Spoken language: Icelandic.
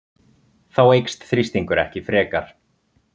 Þá eykst þrýstingur ekki frekar.